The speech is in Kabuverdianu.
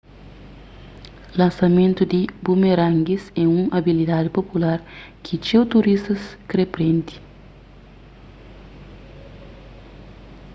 lansamentu di bumerangues é un abilidadi popular ki txeu turístas kre prende